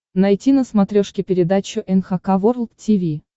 найти на смотрешке передачу эн эйч кей волд ти ви